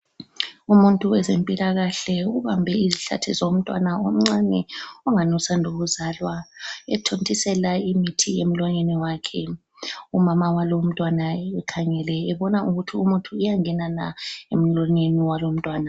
Umuntu wezempilakahle ubambe izihlathi zomntwana omncane ongani usanda ukuzalwa ethontisela imithi emlonyeni wakhe, umama walowu umntwana ekhangele ebona ukuthi umuthi uyangena na emlonyeni walo umntwana.